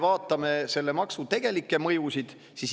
Vaatame selle maksu tegelikke mõjusid.